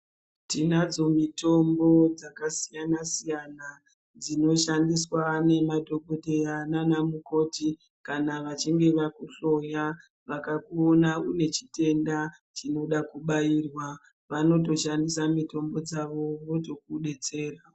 Tinadzo mitombo dzakasiyana-siyana, dzinoshandiswa nemadhokodheya naanamukoti. Kana vachinge vakuhloya. Vaona une chitenda chinoda kubairwa, vanotoshandisa mitombo dzavo, votokudetsera.